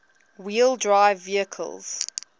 wheel drive vehicles